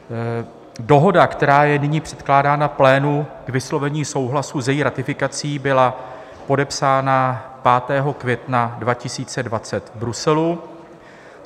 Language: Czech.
Dohoda, která je nyní předkládána plénu k vyslovení souhlasu s její ratifikací, byla podepsána 5. května 2020 v Bruselu.